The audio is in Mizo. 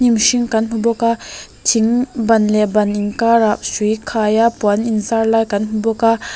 mihring kan hmu bawk a thing ban leh ban inkarah hrui khai a puan in zar lai kan hmu bawk a.